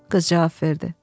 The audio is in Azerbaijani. qız cavab verdi.